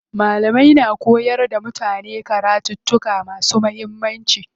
Malamai na koyar da mutane karattuka masu muhimmanci.